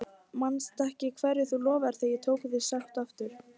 Manstu ekki hverju þú lofaðir þegar ég tók þig í sátt aftur?